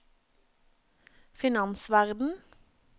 finansverden